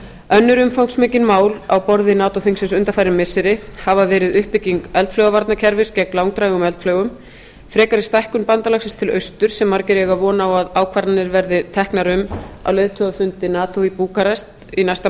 önnur umfangsmikil mál á borði nato þingsins undanfarin missiri hafa verið uppbygging eldflaugavarnakerfis gegn langdrægum eldflaugum frekari stækkun bandalagsins til austurs sem margir eiga von á að ákvarðanir verði teknar um á leiðtogafundi nato í búkarest í næsta